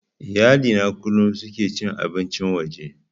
Iyali na kullum suke cin abincin waje